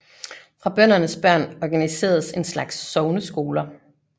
For bøndernes børn organiseredes en slags sogneskoler